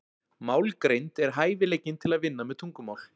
Málgreind er hæfileikinn til að vinna með tungumál.